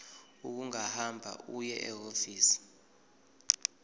ungahamba uye ehhovisi